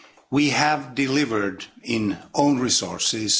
We have delivered in own resources.